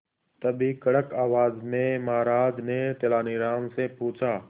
तभी कड़क आवाज में महाराज ने तेनालीराम से पूछा